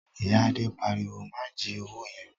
Ìyá Adé pariwo "má jí owó yẹn!"